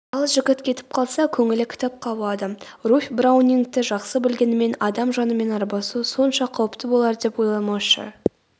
ал жігіт кетіп қалса көңілі кітапқа ауады.руфь браунингті жақсы білгенімен адам жанымен арбасу сонша қауіпті болар деп ойламаушы